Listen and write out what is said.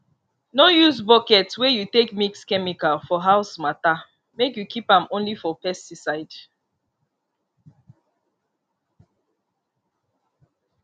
no use bucket wey you take mix chemical for house matter make you keep am only for pesticide